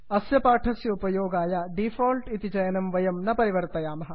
अस्य पाठस्य उपयोगाय डिफाल्ट् इति चयनं वयं न परिवर्तयामः